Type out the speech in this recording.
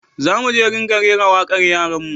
Za mu ringa rera wakar yaran mu